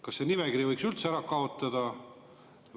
Kas selle nimekirja võiks üldse ära kaotada?